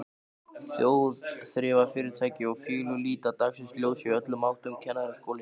Þjóðþrifafyrirtæki og félög líta dagsins ljós í öllum áttum, Kennaraskólinn